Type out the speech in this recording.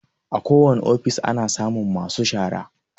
A ko wani ofis ana samun masu shara